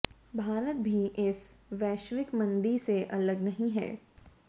भारत भी इस वैश्विक मंदी से अलग नहीं है